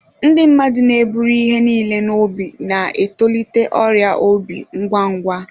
Ndị mmadụ na-eburu ihe niile n'obi na-etolite ọrịa obi ngwa ngwa.